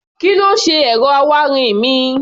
Kí ló ṣe ẹ̀rọ awáirin mi?